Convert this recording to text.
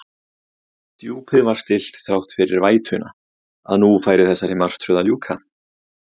Djúpið var stillt þrátt fyrir vætuna, að nú færi þessari martröð að ljúka.